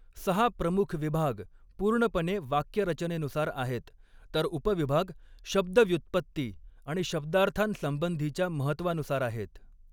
सहा प्रमुख विभाग पूर्णपणे वाक्यरचनेनुसार आहेत, तर उपविभाग शब्दव्युत्पत्ती आणि शब्दार्थांसंबंधीच्या महत्त्वानुसार आहेत.